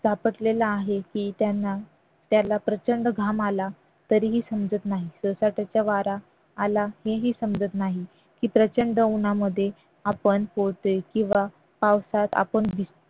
तापटलेला आहे की त्यांना त्याला प्रचंड घाम आला तरीही समजत नाही सोसाट्याचा वारा आला तेही समजत नाही की प्रचंड उन्हामध्ये आपण पोळतोय किंवा पावसात आपण भिजतोय